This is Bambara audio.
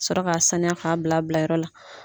Ka sɔrɔ ka sanuya k'a bila bilayɔrɔ la.